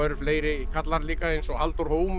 fleiri karlar líka eins og Halldór